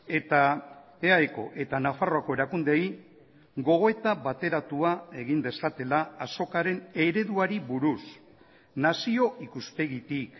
eta eaeko eta nafarroako erakundeei gogoeta bateratua egin dezatela azokaren ereduari buruz nazio ikuspegitik